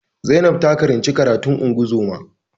Zainab ta karanci karatun ungozoma